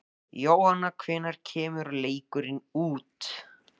Jóhann: Hvenær kemur leikurinn út?